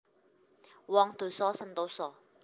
Wong dosa sentosa